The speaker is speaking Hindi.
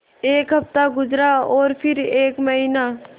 एक हफ़्ता गुज़रा और फिर एक महीना